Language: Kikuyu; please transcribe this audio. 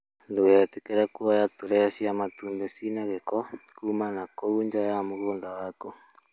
Ndũgetĩkĩre kũoya turee cia matumbĩ ciĩna gĩko kuma na kũu nja ya mũgũnda waku.